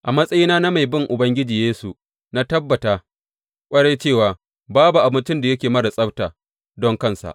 A matsayina na mai bin Ubangiji Yesu na tabbata ƙwarai cewa babu abincin da yake marar tsabta don kansa.